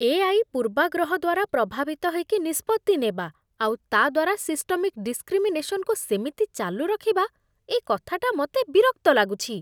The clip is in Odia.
ଏ.ଆଇ. ପୂର୍ବାଗ୍ରହ ଦ୍ୱାରା ପ୍ରଭାବିତ ହେଇକି ନିଷ୍ପତ୍ତି ନେବା, ଆଉ ତା' ଦ୍ଵାରା ସିଷ୍ଟମିକ୍ ଡିସ୍କ୍ରିମିନେସନକୁ ସେମିତି ଚାଲୁରଖିବା, ଏ କଥାଟା ମତେ ବିରକ୍ତ ଲାଗୁଛି ।